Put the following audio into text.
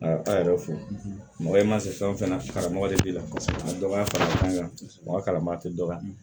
Ala yɛrɛ fe mɔgɔ i ma se fɛn fɛn na karamɔgɔ de b'i la kosɛbɛ a dɔ b'a fara kan mɔgɔ kalanba te dɔ la